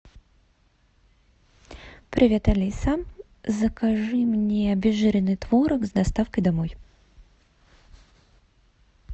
привет алиса закажи мне обезжиренный творог с доставкой домой